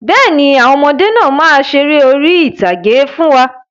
Bẹ́ẹ̀ni, àwọn ọmọdé náà má ṣeré orí ìtàgé fún wa.